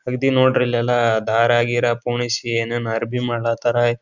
ಅಗ್ದಿ ನೋಡ್ರಿ ಇಲ್ ಎಲ್ಲಾ ದಾರ ಗೀನ ಪೋಣಿಸಿ ಏನೇನ ಅರ್ಬಿ ಮಾಡಾತಾರ.